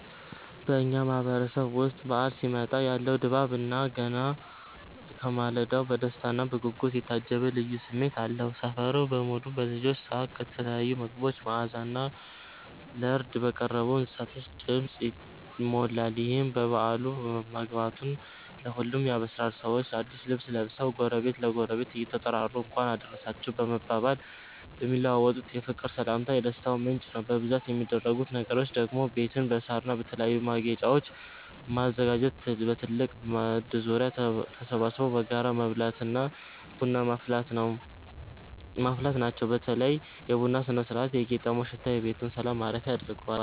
በኛ ማህበረሰብ ዉስጥ በዓል ሲመጣ ያለው ድባብ ገና ከማለዳው በደስታና በጉጉት የታጀበ ልዩ ስሜት አለው። ሰፈሩ በሙሉ በልጆች ሳቅ፤ በተለያዩ ምግቦች መዓዛና ለርድ በቀረቡ እንስሳቶች ድምፅ ይሞላል። ይህም በዓሉ መግባቱን ለሁሉም ያበስራል። ሰዎች አዲስ ልብስ ለብሰው፣ ጎረቤት ለጎረቤት እየተጠራሩ "እንኳን አደረሳችሁ" በመባባል የሚለዋወጡት የፍቅር ሰላምታ የደስታው ምንጭ ነው። በብዛት የሚደረጉት ነገሮች ደግሞ ቤትን በሳርና በተለያዩ ማጌጫወች ማዘጋጀት፣ በትልቅ ማዕድ ዙሪያ ተሰብስቦ በጋራ መብላትና ቡና ማፍላት ናቸው። በተለይ የቡናው ስነ-ስርዓትና የቄጤማው ሽታ ቤቱን የሰላም ማረፊያ ያደርገዋል።